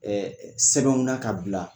na ka bila